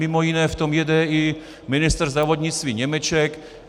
Mimo jiné v tom jede i ministr zdravotnictví Němeček.